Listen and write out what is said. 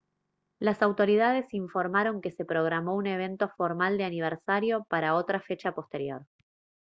las autoridades informaron que se programó un evento formal de aniversario para otra fecha posterior